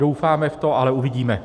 Doufáme v to, ale uvidíme.